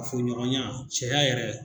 Kafoɲɔgɔnya cɛya yɛrɛ.